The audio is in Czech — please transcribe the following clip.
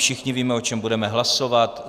Všichni víme, o čem budeme hlasovat.